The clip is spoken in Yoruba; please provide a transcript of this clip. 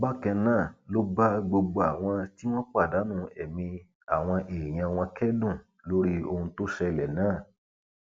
bákan náà ló bá gbogbo àwọn tí wọn pàdánù ẹmí àwọn èèyàn wọn kẹdùn lórí ohun tó ṣẹlẹ náà